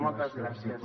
moltes gràcies